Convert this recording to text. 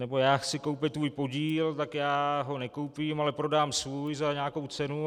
nebo já chci koupit tvůj podíl, tak já ho nekoupím, ale prodám svůj za nějakou cenu.